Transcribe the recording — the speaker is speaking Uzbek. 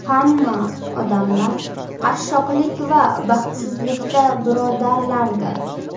Hamma odamlar qashshoqlik va baxtsizlikda birodarlardir.